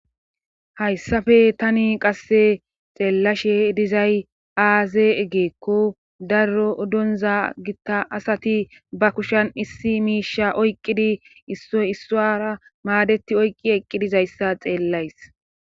hayssafe tani qasse xeellashe dizay aaze eggeekko daro donza gitta asati ba kushan issi miisha oyqqidi issoy issaara maadeti oyqqi eqqidizayssa xeellays